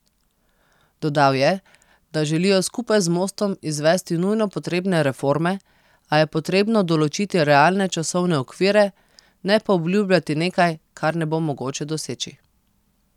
Dodal je, da želijo skupaj z Mostom izvesti nujno potrebne reforme, a je potrebno določiti realne časovne okvire, ne pa obljubljati nekaj, kar ne bo mogoče doseči.